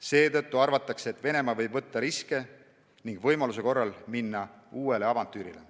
Seetõttu arvatakse, et Venemaa võib võtta riske ning võimaluse korral minna uuele avantüürile.